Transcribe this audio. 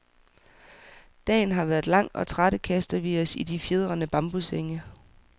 Dagen har været lang, og trætte kaster vi os i de fjedrende bambussenge.